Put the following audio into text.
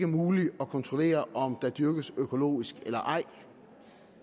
muligt at kontrollere om der dyrkes økologisk eller ej